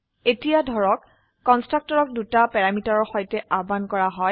এতিয়া ধৰক কন্সট্ৰাকটৰক দুটা প্যাৰামিটাৰৰ সৈতে আহ্বান কৰা হয়